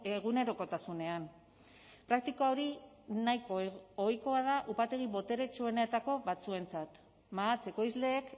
egunerokotasunean praktika hori nahiko ohikoa da upategi boteretsuenetako batzuentzat mahats ekoizleek